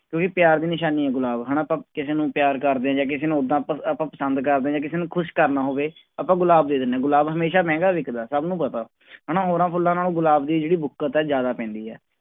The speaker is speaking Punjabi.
ਕਿਉਂਕਿ ਪਿਆਰ ਦੀ ਨਿਸ਼ਾਨੀ ਹੈ ਗੁਲਾਬ ਹਨਾ ਆਪਾਂ ਕਿਸੇ ਨੂੰ ਪਿਆਰ ਕਰਦੇ ਹਾਂ ਜਾਂ ਕਿਸੇ ਨੂੰ ਓਦਾਂ ਆਪਾਂ ਆਪਾਂ ਪਸੰਦ ਕਰਦੇ ਹਾਂ ਜਾਂ ਕਿਸੇ ਨੂੰ ਖ਼ੁਸ਼ ਕਰਨਾ ਹੋਵੇ, ਆਪਾਂ ਗੁਲਾਬ ਦੇ ਦਿੰਦੇ ਹਾਂ ਗੁਲਾਬ ਹਮੇਸ਼ਾ ਮਹਿੰਗਾ ਵਿਕਦਾ ਸਭ ਨੂੰ ਪਤਾ ਹਨਾ ਹੋਰਾਂ ਫੁੱਲਾਂ ਨਾਲੋਂ ਗੁਲਾਬ ਦੀ ਜਿਹੜੀ ਬੁੱਕਤ ਹੈ ਜ਼ਿਆਦਾ ਪੈਂਦੀ ਹੈ।